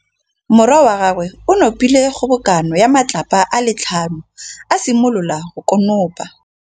Morwa wa gagwe o nopile kgobokanô ya matlapa a le tlhano, a simolola go konopa.